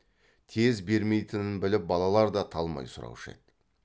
тез бермейтінін біліп балалар да талмай сұраушы еді